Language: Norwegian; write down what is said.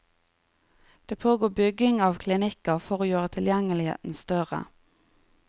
Det pågår bygging av klinikker for å gjøre tilgjengeligheten større.